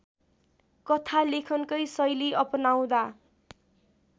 कथालेखनकै शैली अपनाउँदा